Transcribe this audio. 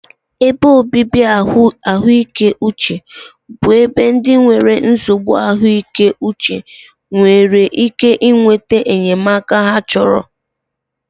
Ebe obibi ahụike uche bụ ebe ndị nwere nsogbu ahụike uche nwere ike nweta enyemaka ha chọrọ.